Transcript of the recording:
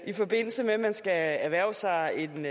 i forbindelse med at man skal erhverve sig en